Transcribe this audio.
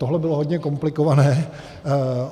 Tohle bylo hodně komplikované.